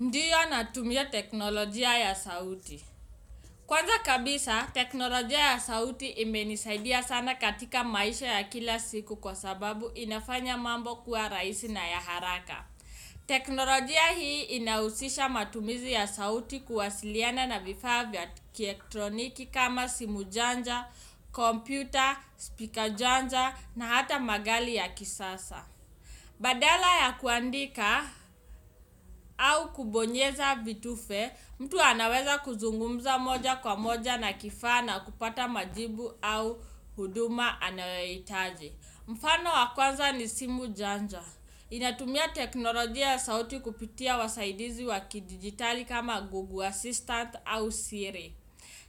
Ndiyo natumia teknolojia ya sauti. Kwanza kabisa, teknolojia ya sauti imenisaidia sana katika maisha ya kila siku kwa sababu inafanya mambo kuwa raisi na ya haraka. Teknolojia hii inausisha matumizi ya sauti kuwasiliana na vifaa vya kiektroniki kama simu janja, kompyuta, speaker janja na hata magali ya kisasa. Badala ya kuandika au kubonyeza vitufe, mtu anaweza kuzungumza moja kwa moja na kifaa na kupata majibu au huduma anayohitaji. Mfano wakwanza ni simu janja. Inatumia teknolojia ya sauti kupitia wasaidizi waki digitali kama Google Assistant au Siri.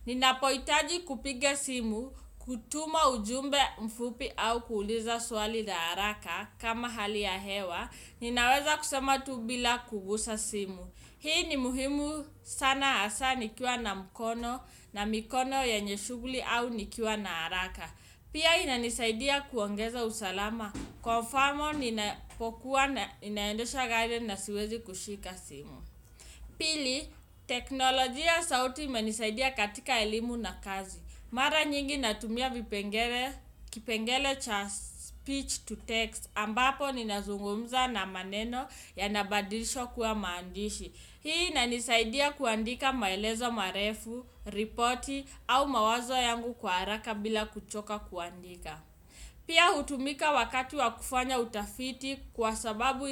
Nina poitaji kupiga simu, kutuma ujumbe mfupi au kuuliza swali la haraka kama hali ya hewa. Ninaweza kusema tubila kugusa simu. Hii ni muhimu sana hasa nikiwa na mkono na mikono yenyeshughli au nikiwa na haraka. Pia inanisaidia kuongeza usalama. Kwa mfamo ninapokuwa naendesha gari na siwezi kushika simu. Pili, teknolojia sauti imenisaidia katika elimu na kazi. Mara nyingi natumia vipengele kipengele cha speech to text ambapo ninazungumza na maneno ya nabadilishwa kuwa maandishi. Hii inanisaidia kuandika maelezo marefu, ripoti au mawazo yangu kwa haraka bila kuchoka kuandika. Pia hutumika wakati wakufanya utafiti kwa sababu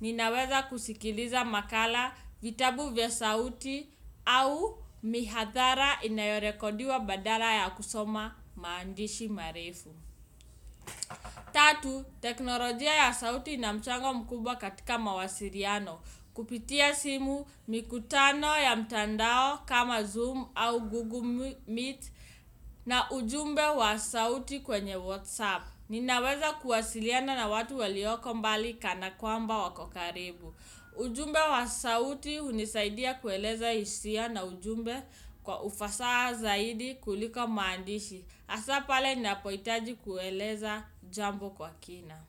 ninaweza kusikiliza makala vitabu vya sauti au mihathara inayorekodiwa badala ya kusoma maandishi marefu. Tatu teknolojia ya sauti inamchango mkubwa katika mawasiriano kupitia simu mikutano ya mtandao kama zoom au google meet na ujumbe wa sauti kwenye whatsapp. Ninaweza kuwasiliana na watu walioko mbali kana kwamba wakokaribu. Ujumbe wa sauti unisaidia kueleza hisia na ujumbe kwa ufasaha zaidi kuliko maandishi. Asapale nina poitaji kueleza jambo kwa kina.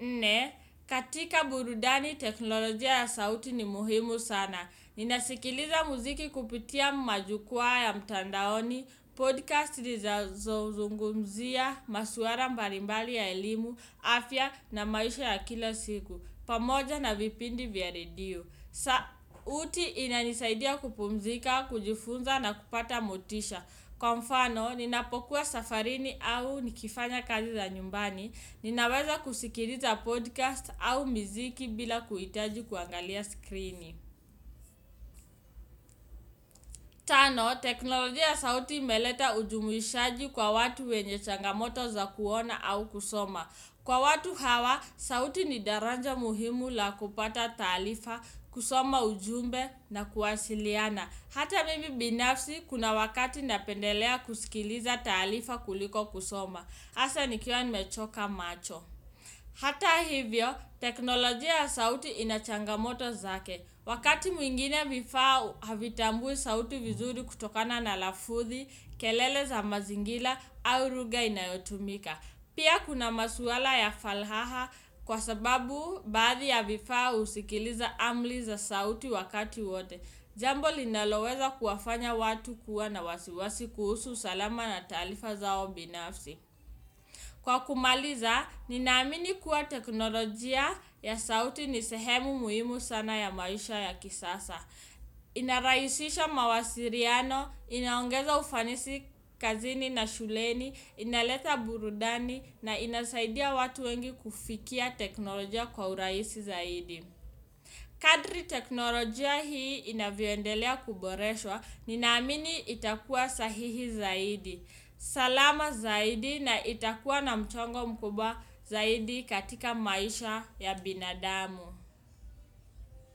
Nne, katika burudani teknolojia ya sauti ni muhimu sana. Ninasikiliza muziki kupitia majukwaa ya mtandaoni Podcast lizazozungumzia, masuara mbalimbali ya elimu, afya na maisha ya kila siku pamoja na vipindi vya radio. Sauti ina nisaidia kupumzika, kujifunza na kupata motisha. Kwa mfano, ninapokuwa safarini au nikifanya kazi za nyumbani. Ninaweza kusikiliza podcast au miziki bila kuitaji kuangalia skrini. Tano, teknolojia ya sauti imeleta ujumuishaji kwa watu wenye changamoto za kuona au kusoma. Kwa watu hawa, sauti ni daranja muhimu la kupata taalifa, kusoma ujumbe na kuwasiliana. Hata mimi binafsi, kuna wakati napendelea kuskiliza taalifa kuliko kusoma. Asa ni kiwa ni mechoka macho. Hata hivyo, teknolojia ya sauti inachangamoto zake. Wakati mwingine vifaa havitambui sauti vizuri kutokana na lafuthi, kelele za mazingila au ruga inayotumika. Pia kuna masuala ya falhaha kwa sababu baadhi ya vifaa usikiliza amli za sauti wakati wote. Jambo linaloweza kuwafanya watu kuwa na wasiwasi kuhusu usalama na talaafa zao binafsi. Kwa kumaliza, ninaamini kuwa teknolojia ya sauti ni sehemu muhimu sana ya maisha ya kisasa. Inarahisisha mawasiriano, inaongeza ufanisi kazini na shuleni, inaleta burudani na inasaidia watu wengi kufikia teknolojia kwa uraisi zaidi. Kadri teknolojia hii inavyoendelea kuboreswa, ninamini itakuwa sahihi zaidi. Salama zaidi na itakuwa na mchongo mkubwa zaidi katika maisha ya binadamu.